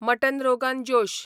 mutton rogan जोश